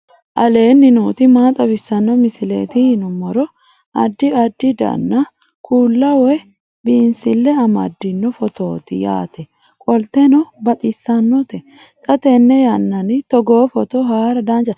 aleenni nooti maa xawisanno misileeti yinummoro addi addi dananna kuula woy biinsille amaddino footooti yaate qoltenno baxissannote xa tenne yannanni togoo footo haara danvchate